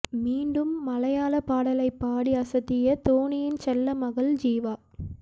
மீண்டும் மலையாள பாடலை பாடி அசத்திய தோனியின் செல்ல மகள் ஜிவா